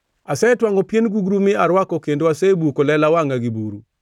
“Asetwangʼo pien gugru mi arwako kendo asebuko lela wangʼa gi buru.